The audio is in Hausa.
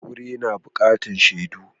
Aure na buƙatar shaidu.